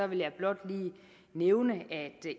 vil jeg blot lige nævne at